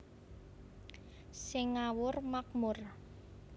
Sing ngawur makmur